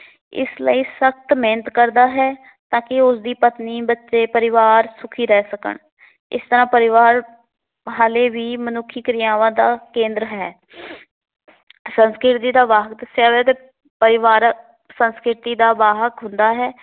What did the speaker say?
ਪਤਨੀ, ਬੱਚੇ ਪਰਿਵਾਰ ਸੁੱਖੀ ਰਹਿ ਸਕਣ। ਇਸ ਤਰ੍ਹਾਂ ਪਰਿਵਾਰ ਹਾਲੇ ਵੀ ਮਨੁੱਖੀ ਕਿਰਿਆਵਾਂ ਦਾ ਕੇਂਦਰ ਹੈ। ਸੰਸਕ੍ਰਿਤੀ ਦਾ ਦੱਸਿਆ ਵਾ ਤੇ ਪਰਿਵਾਰ ਸੰਸਕ੍ਰਿਤੀ ਦੀ ਵਾਹਕ ਹੁੰਦਾ ਹੈ।